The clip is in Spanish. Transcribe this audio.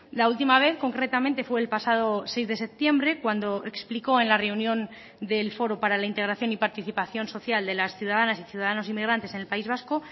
la última vez concretamente fue el pasado seis de septiembre cuando explicó en la reunión del foro para la integración y participación social de las ciudadanas y ciudadanos inmigrantes en el país vasco